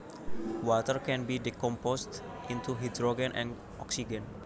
Water can be decomposed into hydrogen and oxygen